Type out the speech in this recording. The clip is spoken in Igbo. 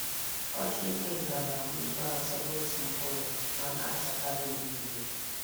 Ọjị ikenga nagba ibe atọ notu mkpụrụ, ma nachakarị uhie uhie.